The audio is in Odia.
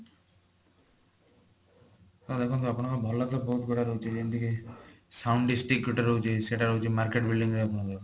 ତ ଦେଖନ୍ତୁ ଆପଣଙ୍କର ଭଲ ବହୁତ ବଢିଆ ରହୁଛି ଯେମିତିକି sound dish tick ଗୋଟେ ରହୁଛି ସେଇଟା ରହୁଛି market building ରେ ଆମର